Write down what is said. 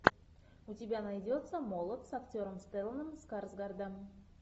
у тебя найдется молот с актером стелланом скарсгардом